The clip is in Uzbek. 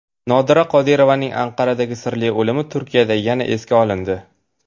Nodira Qodirovaning Anqaradagi sirli o‘limi Turkiyada yana esga olindi.